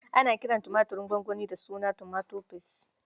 Ana kiran tumaturin gwangwani da suna Tomato Paste.